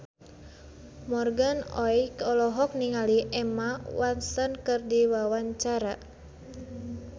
Morgan Oey olohok ningali Emma Watson keur diwawancara